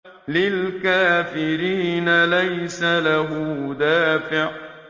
لِّلْكَافِرِينَ لَيْسَ لَهُ دَافِعٌ